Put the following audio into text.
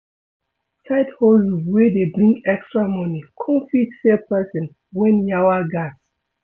Side hustle wey dey bring extra money come fit save person when yawa gas